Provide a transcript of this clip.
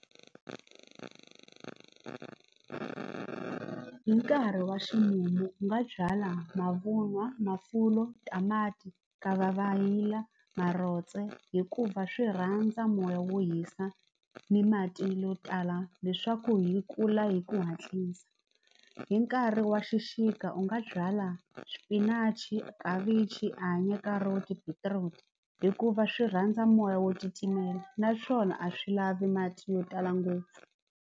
Hi nkarhi wa ximumu u nga byala mavunwa mafulo, tamati, marotse hikuva swi rhandza moya wo hisa ni mati yo tala leswaku hi kula hi ku hatlisa hi nkarhi wa xixika u nga byala swipinachi, khavichi, anye, carrot, beetroot hikuva swi rhandza moya wo titimela naswona a swi lavi mati yo tala ngopfu.